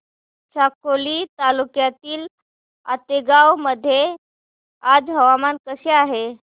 साकोली तालुक्यातील आतेगाव मध्ये आज हवामान कसे आहे